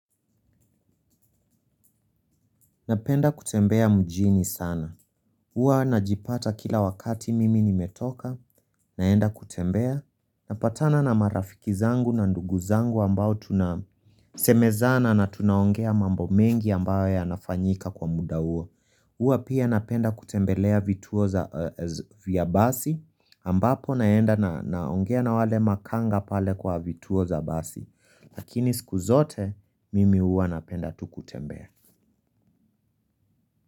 Napenda kutembea mjini sana. Huwa najipata kila wakati mimi nimetoka naenda kutembea. Napatana na marafiki zangu na ndugu zangu ambao tunasemezana na tunaongea mambo mengi ambayo yanafanyika kwa muda huo. Huwa pia napenda kutembelea vituo vya basi ambapo naenda na naongea na wale makanga pale kwa vituo za basi lakini siku zote mimi huwa napenda tu kutembea.